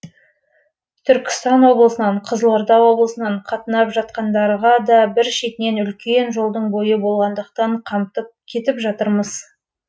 түркістан облысынан қызылорда облысынан қатынап жатқандарға да бір шетінен үлкен жолдың бойы болғандықтан қамтып кетіп жатырмыз